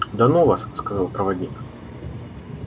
да ну вас сказал проводник